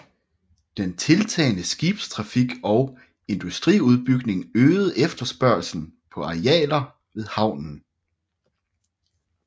Den tiltagende skibstrafik og industriudbygning øgede efterspørgslen på arealer ved havnen